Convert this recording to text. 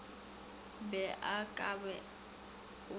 be o ka ba o